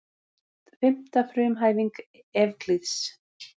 Fimmta frumhæfing Evklíðs.